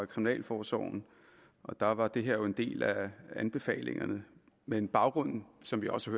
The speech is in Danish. kriminalforsorgen og der var det her jo en del af anbefalingerne men baggrunden som vi også